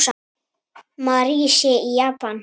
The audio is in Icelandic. Mary sé í Japan.